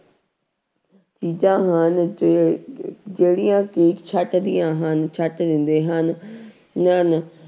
ਚੀਜ਼ਾਂ ਹਨ ਜੇ ਜਿਹੜੀਆਂ ਕਿ ਛੱਟਦੀਆਂ ਹਨ ਛੱਟ ਦਿੰਦੇ ਹਨ ਹਨ